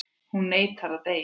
Hún neitar að deyja.